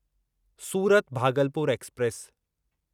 Surat Bhagalpur express